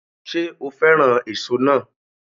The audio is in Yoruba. Ṣé o fẹ́ràn èso náà